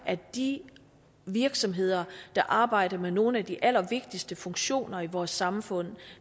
at de virksomheder der arbejder med nogle af de allervigtigste funktioner i vores samfund